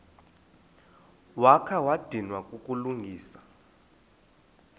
wakha wadinwa kukulungisa